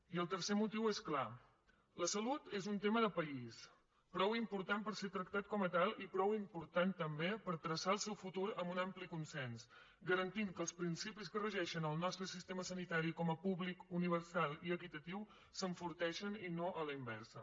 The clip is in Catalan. i el tercer motiu és clar la salut és un tema de país prou important per ser tractat com a tal i prou important també per traçar el seu futur amb un ampli consens garantint que els principis que regeixen el nostre sistema sanitari com a públic universal i equitatiu s’enforteixen i no a la inversa